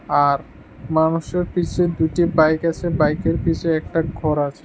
আর মানুষের পিছে দুইটি বাইক আছে বাইকের পিছে একটা ঘর আছে।